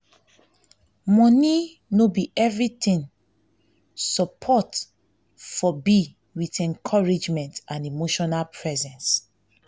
money no be everything support for be with encouragement and emotional presence